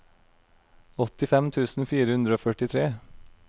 åttifem tusen fire hundre og førtitre